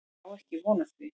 Ég á ekki von á því.